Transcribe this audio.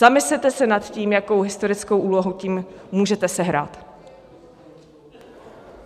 Zamyslete se nad tím, jakou historickou úlohu tím můžete sehrát.